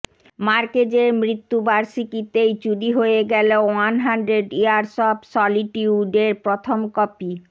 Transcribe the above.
মার্কেজের মৃত্যুবার্ষিকীতেই চুরি হয়ে গেল ওয়ান হান্ড্রেড ইয়ার্স অফ সলিটিউডের প্রথম কপি